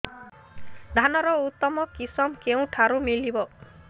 ଧାନର ଉତ୍ତମ କିଶମ କେଉଁଠାରୁ ମିଳିବ